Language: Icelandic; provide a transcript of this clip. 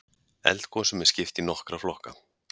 Eldgosum er skipt í nokkra flokka.